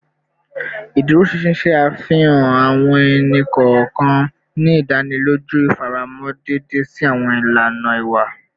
Iduroṣinṣin ṣe afihan awọn ẹni kọọkan, ni idaniloju ifaramọ deede si awọn ilana iwa